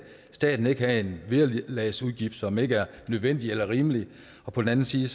staten ikke have en vederlagsudgift som ikke er nødvendig eller rimelig og på den anden side